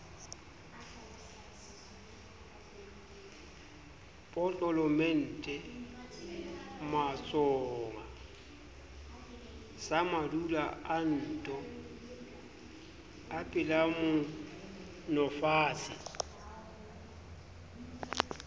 potlolomente matsohonga samadula anto epelamoomofatshe